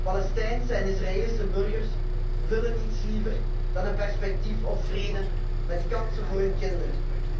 Palestijnse en Israëlische burgers willen niets liever dan een perspectief op vrede, met kansen voor hun kinderen.